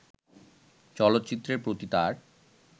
চলচ্চিত্রের প্রতি তার